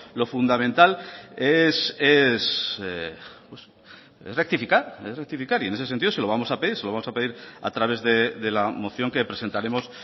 lo fundamental es rectificar es rectificar y en ese sentido se lo vamos a pedir se lo vamos a pedir a través de la moción que presentaremos